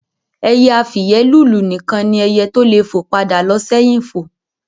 Ẹyẹ afìyẹ́lùlù nìkan ni ẹyẹ tó le fo padà lo sẹ́hìn fo